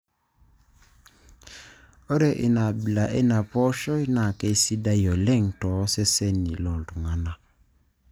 Ore ina abila eina pooshoi naa keisidai oleng too seseni loo iltung'ana.